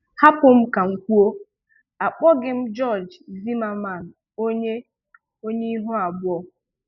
Hapụ m ka m kwuo, akpọghị m George Zimmerman onye onye ihu abụọ.